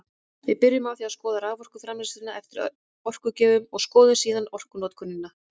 Við byrjum á því að skoða raforkuframleiðsluna eftir orkugjöfum og skoðum síðan orkunotkunina.